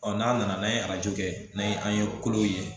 n'a nana n'an ye arajo kɛ n'an ye an ye kolo ye